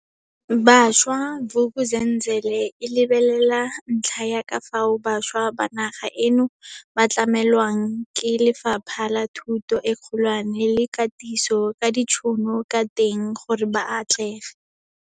Bašwa, Vuk'uzenzele e lebelela ntlha ya ka fao bašwa ba naga eno ba tlamelwang ke Lefapha la Thuto e Kgolwane le Katiso ka ditšhono ka teng gore ba atlege.